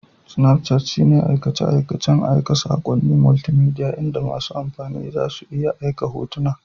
Snapchat shine aikace-aikacen aika saƙonnin multimedia inda masu amfani za su iya aika hotuna